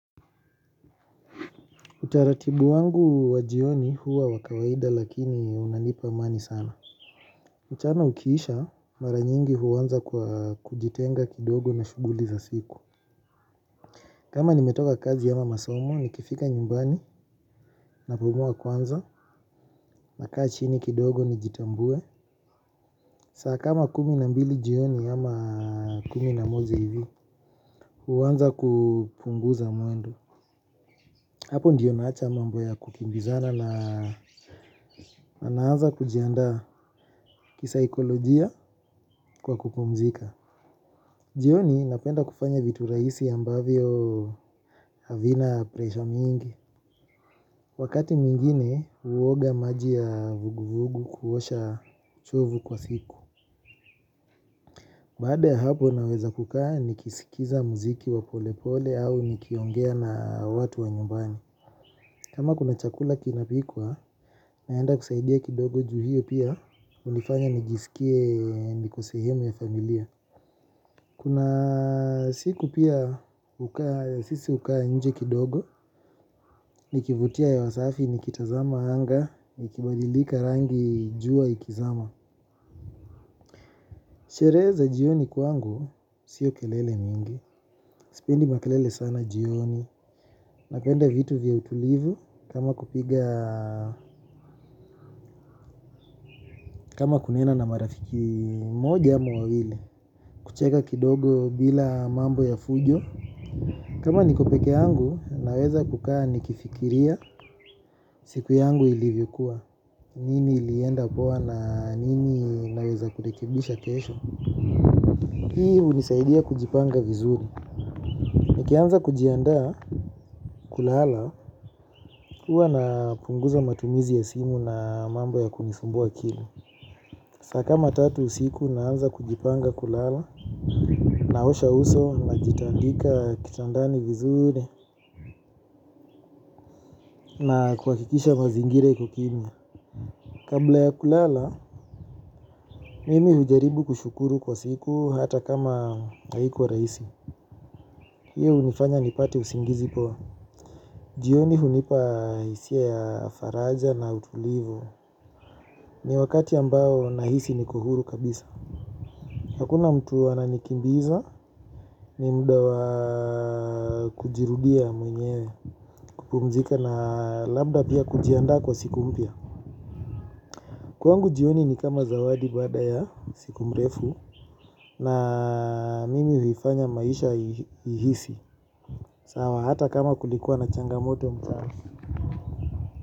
Utaratibu wangu wa jioni huwa wakawaida lakini unanipa amani sana. Mchana ukiisha maranyingi huwanza kujitenga kidogo na shuguli za siku. Kama nimetoka kazi ya mamasomo ni kifika nyumbani napumua kwanza na kaa chini kidogo ni jitambue. Saa kama kumi na mbili jioni ama kumi na mozja hivi huwanza kupunguza mwendo. Hapo ndiyo naacha mambo ya kukimbizana na naanza kujianda kisaikolojia kwa kupumzika. Jioni napenda kufanya vitu rahisi ambavyo havina presha mingi. Wakati mwingine huoga maji ya vuguvugu kuosha uchovu kwa siku. Baada ya hapo naweza kukaa nikisikiza muziki wa pole pole au nikiongea na watu wa nyumbani. Kama kuna chakula kinapikwa, naenda kusaidia kidogo juu hiyo pia, unifanya nijisikie nikosehemu ya familia. Kuna siku pia sisi hukaa nje kidogo, nikivutia hewa safi nikitazama anga, nikibadilika rangi jua ikizama. Sherehe za jioni kwangu, sio kelele mingi. Sipendi makelele sana jioni. Napenda vitu vya utulivu. Kama kupiga kama kunena na marafiki moja ama wawili kucheka kidogo bila mambo ya fujo kama niko peke yangu naweza kukaa nikifikiria. Siku yangu ilivyokuwa. Nini ilienda poa na nini naeza kurekibisha kesho. Hii unisaidia kujipanga vizuri. Nikianza kujiandaa kulala huwa napunguza matumizi ya simu na mambo ya kunisumbua akili. Saa kama tatu usiku naanza kujipanga kulala. Naosha uso na jitandika kitandani vizuri na kuwakikisha mazingira ikokimya. Kabla ya kulala, mimi hujaribu kushukuru kwa siku. Hata kama haikuwa rahisi. Hiyo unifanya nipate usingizi poa. Jioni hunipa isia ya faraja na utulivu. Ni wakati ambao nahisi niko huru kabisa. Hakuna mtu ananikimbiza ni muda wa kujirudia mwenyewe kupumzika na labda pia kujiandaa kwa siku mpya. Kuangu jioni ni kama zawadi baada ya siku mrefu na mimi huifanya maisha ihisi. Sawa hata kama kulikuwa na changamote mchana.